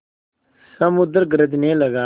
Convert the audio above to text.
समुद्र गरजने लगा